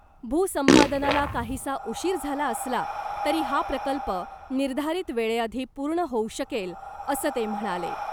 भूसंपादनाला काहीसा उशीर झाला असला तरी हा प्रकल्प निर्धारित वेळेआधी पूर्ण होऊ शकेल , असं ते म्हणाले .